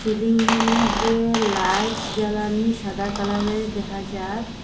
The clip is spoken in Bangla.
সিলিংয়ের মধ্যে লাইট জ্বালানি সাদা কালারের দেখা যায়।